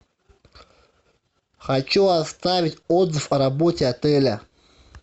хочу оставить отзыв о работе отеля